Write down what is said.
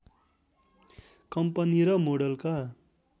company र मोडलका